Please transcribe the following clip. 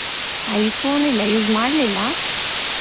iPhone ಇಲ್ಲ use ಮಾಡ್ಲಿಲ್ಲ.